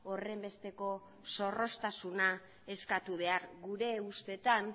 horrenbesteko zorroztasuna eskatu behar gure ustetan